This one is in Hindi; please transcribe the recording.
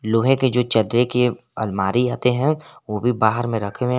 लोहे के जो चदरे की अलमारी आते हैं वो भी बाहर में रखे हुए--